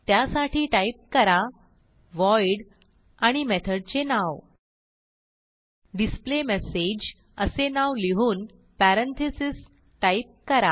त्यासाठी टाईप करा व्हॉइड आणि मेथडचे नाव डिस्प्लेमेसेज असे नाव लिहून पॅरेंथीसेस टाईप करा